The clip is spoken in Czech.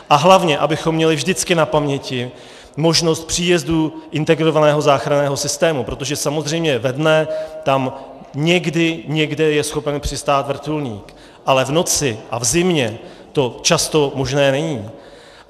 A hlavně abychom měli vždycky na paměti možnost příjezdu integrovaného záchranného systému, protože samozřejmě ve dne tam někdy někde je schopen přistát vrtulník, ale v noci a v zimě to často možné není.